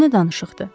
Bu nə danışıqdır?